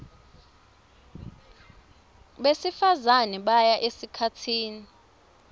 besifazane baya esikhatsini